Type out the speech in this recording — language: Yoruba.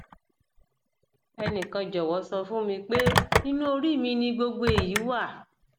ẹnìkan jọwọ sọ fún mi pé inú orí mi ni gbogbo èyí wà